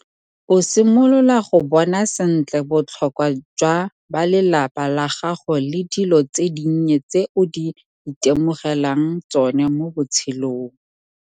O simolola go bona sentle botlhokwa jwa balelapa la gago le dilo tse dinnye tse o di itemogelang tsone mo botshelong.